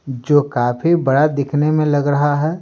जो काफी बड़ा दिखने में लग रहा है।